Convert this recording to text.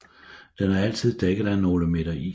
Den er altid dækket af nogle meter is